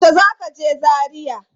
Yaushe ka je Zaria?